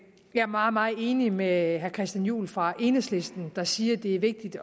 jeg er meget meget enig med herre christian juhl fra enhedslisten der siger at det er vigtigt